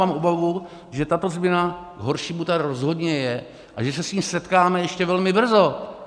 Mám obavu, že tato změna k horšímu tady rozhodně je a že se s ní setkáme ještě velmi brzo.